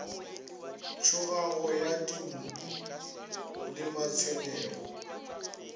tšhogago ya dinkhu le matshwenyego